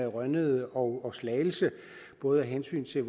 rønnede og slagelse både af hensyn til